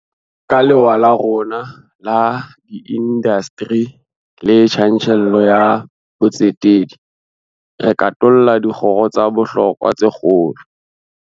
Ka lewa la rona la diindasteri le tjantjello ya botsetedi, re katolla dikgoro tsa bohlokwa tsa kgolo.